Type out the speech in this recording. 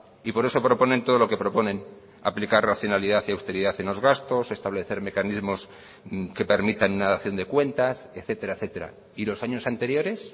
y por eso proponen todo lo que proponen aplicar racionalidad y austeridad en los gastos establecer mecanismos que permitan una dación de cuentas etcétera etcétera y los años anteriores